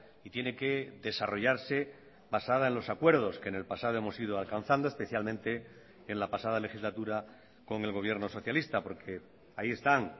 y tiene que desarrollarse basada en los acuerdos que en el pasado hemos ido alcanzando especialmente en la pasada legislatura con el gobierno socialista porque ahí están